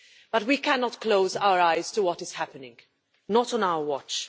But we cannot close our eyes to what is happening, not on our watch.